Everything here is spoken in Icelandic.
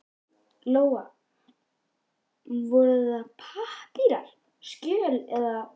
Lóa: Voru það pappírar, skjöl eða?